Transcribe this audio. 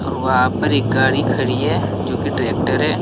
और वहां पर एक गाड़ी खड़ी है जो की ट्रैक्टर है।